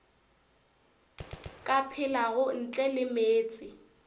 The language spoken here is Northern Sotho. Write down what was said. ka phelago ntle le meetse